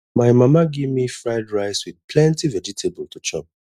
my mama give me fried rice with plenty vegetable to chop